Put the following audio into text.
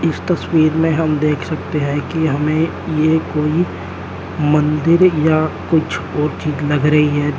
इस तस्वीर में हम देख सकते हैं कि हमें ये कोई मंदिर या कुछ और चीज लग रही है।